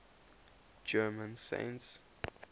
german saints